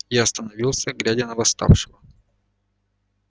я остановился глядя на восставшего